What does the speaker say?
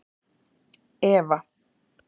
Eva